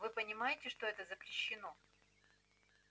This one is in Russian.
вы понимаете что это запрещено